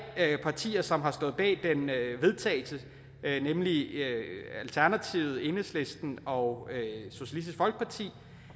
partier som har stået bag den vedtagelse nemlig alternativet enhedslisten og socialistisk folkeparti